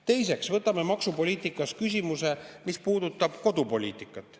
Teiseks, võtame maksupoliitikas küsimuse, mis puudutab kodupoliitikat.